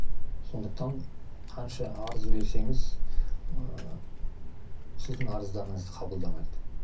сондықтан қанша арыз берсеңіз ыыы сіздің арыздарыңызды қабылдамайды